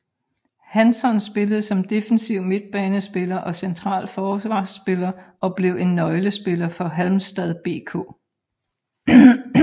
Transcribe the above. Hansson spillede som defensiv midtbanespiller og central forsvarspiller og blev en nøglespiller for Halmstads BK